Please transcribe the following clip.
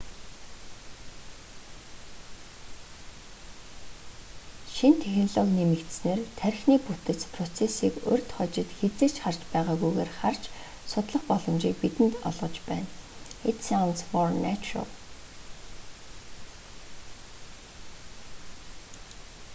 шинэ технологи нэмэгдсэнээр тархины бүтэц процессыг урьд хожид хэзээ ч харж байгаагүйгээр харж судлах боломжийг бидэнд олгож байна it sounds more natural